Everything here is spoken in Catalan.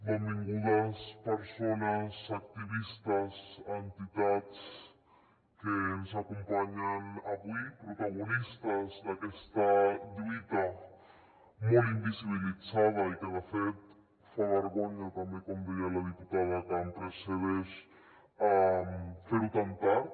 benvingudes persones activistes entitats que ens acompanyen avui protagonistes d’aquesta lluita molt invisibilitzada i que de fet fa vergonya també com deia la diputada que em precedeix fer ho tan tard